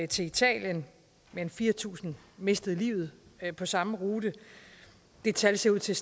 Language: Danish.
til italien men fire tusind mistede livet på samme rute og det tal ser ud til